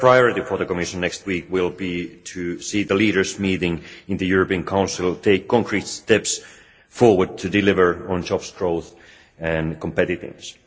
The first priority for the Commission next week will be to see the meeting of the leaders in the European Council take concrete steps forward to deliver on jobs, growth and competitiveness.